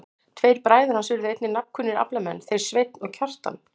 Tveir bræður hans urðu einnig nafnkunnir aflamenn, þeir Sveinn og Kjartan.